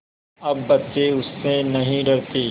अब बच्चे उससे नहीं डरते